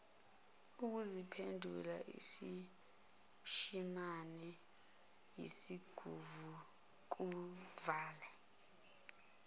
ukuziphendula isishimane esinguvukuvale